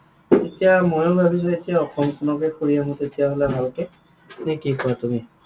এতিয়া ময়ো ভাবিছো এতিয়া অসমখনকে ফুৰি আহো তেতিয়াহলে ভালকৈ, নে কি কোৱা তুমি?